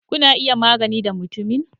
Kuna iya magana da mutumin?